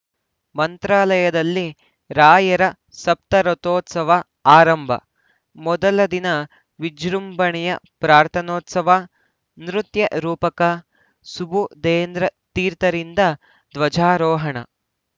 ಮಂತ್ರಾಲಯದಲ್ಲಿ ರಾಯರ ಸಪ್ತರಾತ್ರೋತ್ಸವ ಆರಂಭ ಮೊದಲ ದಿನ ವಿಜೃಂಭಣೆಯ ಪ್ರಾರ್ಥನೋತ್ಸವ ನೃತ್ಯರೂಪಕ ಸುಬುಧೇಂದ್ರ ತೀರ್ಥರಿಂದ ಧ್ವಜಾರೋಹಣೆ